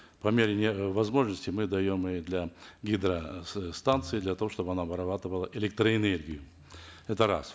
по мере возможности мы даем и для гидростанций для того чтобы она вырабатывала электроэнергию это раз